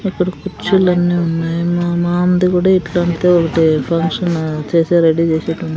ఇక్కడ కుర్చీలన్నీ ఉన్నాయి మా మామది కూడా ఇట్లాంటిదే ఒకటి ఫంక్షన్ చేసే రెడీ చేసెట్టిది --